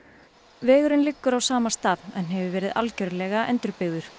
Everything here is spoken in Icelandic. vegurinn liggur á sama stað en hefur verið algjörlega endurbyggður